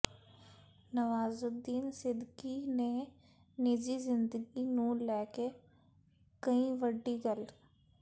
ਨਵਾਜ਼ੁਦੀਨ ਸਿਦੀਕੀ ਨੇ ਨਿੱਜੀ ਜ਼ਿੰਦਗੀ ਨੂੰ ਲੈਕੇ ਕਹੀ ਵੱਡੀ ਗੱਲ